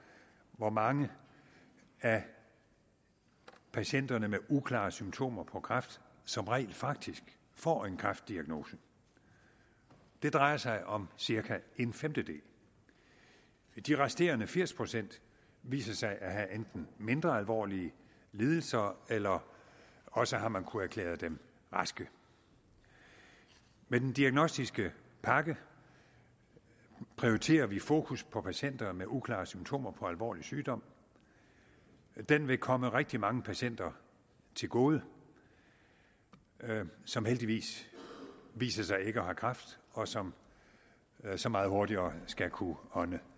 hvor mange af patienterne med uklare symptomer på kræft som rent faktisk får en kræftdiagnose det drejer sig om cirka en femtedel de resterende firs procent viser sig at have enten mindre alvorlige lidelser eller også har man kunnet erklære dem raske med den diagnostiske pakke prioriterer vi fokus på patienter med uklare symptomer på alvorlig sygdom den vil komme rigtig mange patienter til gode som heldigvis viser sig ikke at have kræft og som så meget hurtigere skal kunne ånde